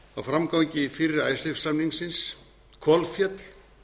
á framgangi fyrri icesave samningsins kolféll